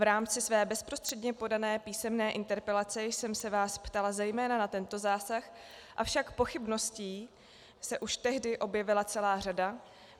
V rámci své bezprostředně podané písemné interpelace jsem se vás ptala zejména na tento zásah, avšak pochybností se už tehdy objevila celá řada.